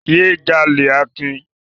Yé jalè Akin!